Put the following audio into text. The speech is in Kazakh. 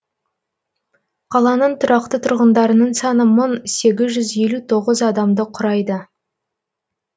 қаланың тұрақты тұрғындарының саны мың сегіз жүз елу тоғыз адамды құрайды